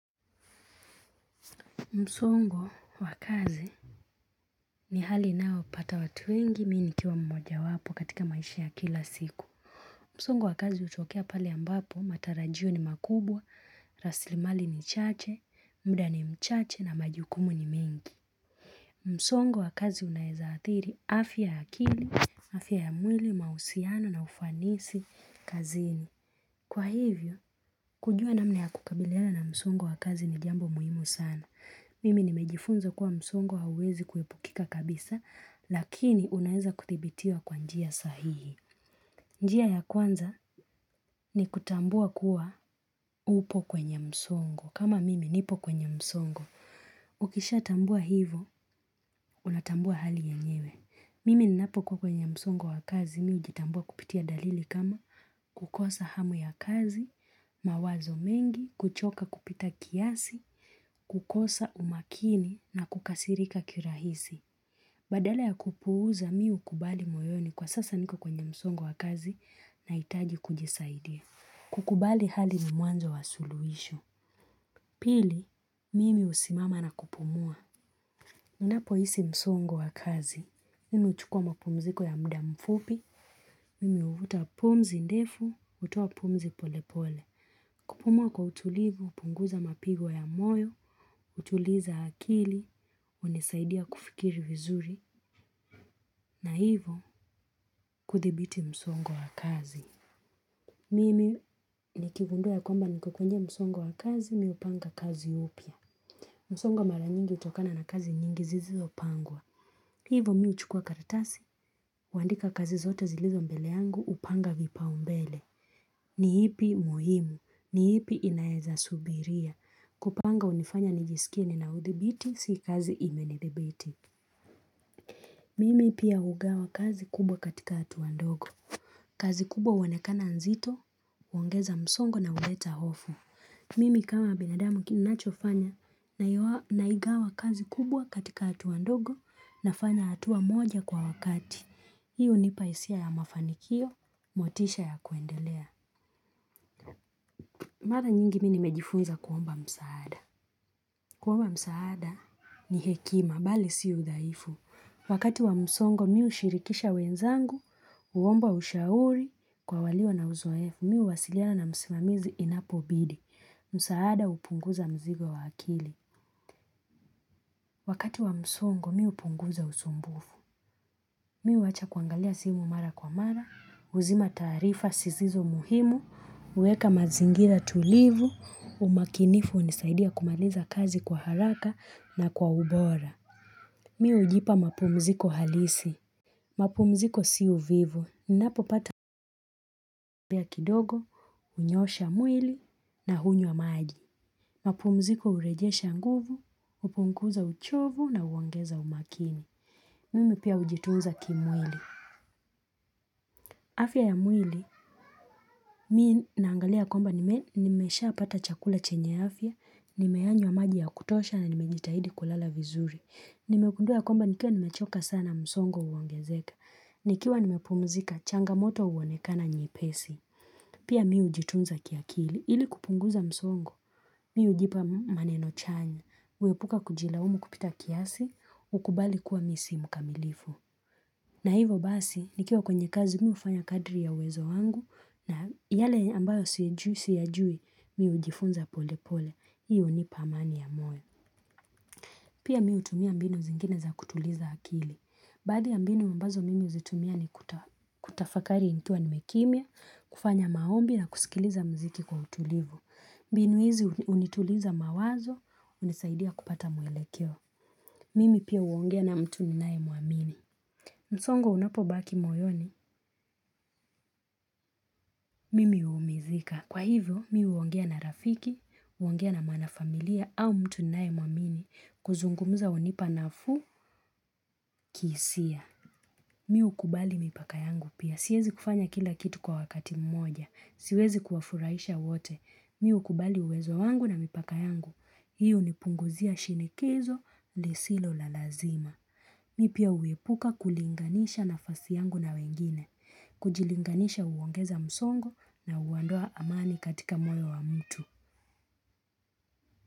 Msongo wa kazi ni hali inayo pata watu wengi mimi nikiwa mmoja wapo katika maisha ya kila siku. Msongo wa kazi utokea pale ambapo matarajio ni makubwa, rasilimali ni chache, muda ni mchache na majukumu ni mingi. Msongo wa kazi unaweza athiri afya ya akili, afya ya mwili, mahusiano na ufanisi kazini. Kwa hivyo, kujua namna ya kukabilina na msongo wa kazi ni jambo muhimu sana. Mimi nimejifunza kuwa msongo hauwezi kuepukika kabisa, lakini unaweza kuthibitiwa kwa njia sahihi. Njia ya kwanza ni kutambua kuwa upo kwenye msongo. Kama mimi nipo kwenye msongo. Ukishatambua hivyo, unatambua hali yenyewe. Mimi ninapokuwa kwenye msongo wa kazi, mimi hujitambua kupitia dalili kama kukosa hamu ya kazi, mawazo mengi, kuchoka kupita kiasi, kukosa umakini na kukasirika kirahisi. Badala ya kupuuza mimi hukubali moyoni kwa sasa niko kwenye msongo wa kazi nahitaji kujisaidia. Kukubali hali ni mwanzo wa suluhisho. Pili, mimi husimama na kupumua unapohisi msongo wa kazi mimi huchukua mapumziko ya muda mfupi. Mimi huvuta pumzi ndefu, hutua pumzi polepole. Kupumua kwa utulivu, upunguza mapigo ya moyo hutuliza akili, hunisaidia kufikiri vizuri na hivo kuthibiti msongo wa kazi mimi nikigundua ya kwamba niko kwenye msongo wa kazi mi upanga kazi pia. Msongo mara nyingi utokana na kazi nyingi zizopangwa. Hivo mi huchukua karatasi kuandika kazi zote zilizo mbele yangu huanga vipaumbele. Ni ipi muhimu. Ni ipi inaeza subiria. Kupanga unifanya nijisikie nina utibiti. Si kazi imenidhibiti. Mimi pia hugawa kazi kubwa katika hatua ndogo. Kazi kubwa huonekana nzito, uangeza msongo na uleta hofu. Mimi kama binadamu kinachofanya naigawa kazi kubwa katika hatua ndogo nafanya hatua moja kwa wakati. Hii hunipa hisia ya mafanikio, motisha ya kuendelea. Mara nyingi mi nimejifunza kuomba msaada. Kuomba msaada ni hekima, bali si ushaifu. Wakati wa msongo, mi ushirikisha wenzangu, huomba ushauri kwa walio na uzoefu. Mi huwasiliana na msimamizi inapobidi. Msaada hupunguza mzigo wa hakili. Wakati wa msongo, miu upunguza usumbufu. Mi huwacha kuangalia simu mara kwa mara, uzima taarifa, sizizo muhimu, uweka mazingira tulivu, umakinifu hunisaidia kumaliza kazi kwa haraka na kwa ubora. Miu ujipa mapumziko halisi. Mapumziko si uvivu. Napopata mpya kidogo, unyosha mwili na hunywa maji. Mapumziko urejesha nguvu, upunguza uchovu na uongeza umakini. Mimi pia ujituza kimwili. Afya ya mwili, mi naangalia kwamba nimeshapata chakula chenye afya, nimeyanywa maji ya kutosha na nimejitahidi kulala vizuri. Nimegundua ya kwamba nikiwa nimechoka sana msongo uongezeka, nikiwa nimepumzika changamoto uonekana nyepesi. Pia miu hujitunza kiakili, ili kupunguza msongo, mi ujipa maneno chanya, uepuka kujilaumu kupita kiasi, ukubali kuwa mi si mkamilifu. Na hivo basi, nikiwa kwenye kazi mi ufanya kadri ya uwezo wangu na yale ambayo siyajui mi hujifunza pole pole, hii hunipa amani ya moyo. Pia mi utumia mbinu zingine za kutuliza hakili. Baadhi ya mbinu ambazo mimi huzitumia ni kutafakari nikiwa nimekimya, kufanya maombi na kusikiliza mziki kwa utulivu. Mbinu hizi unituliza mawazo, unisaidia kupata mwelekeo. Mimi pia uongea na mtu ninaemuamini. Msongo unapobaki moyoni, mimi umizika. Kwa hivyo, mi huongea na rafiki, huongea na mwana familia au mtu naemwamini kuzungumuza hunipa nafuu kihisia. Mi hukubali mipaka yangu pia. Siwezi kufanya kila kitu kwa wakati mmoja. Siwezi kuwafuraisha wote. Miu kubali uwezo wangu na mipaka yangu. Hi hunipunguzia shinikizo, lisilo la lazima. Mi pia uepuka kulinganisha nafasi yangu na wengine, kujilinganisha uongeza msongo na uondoa amani katika moyo wa mtu.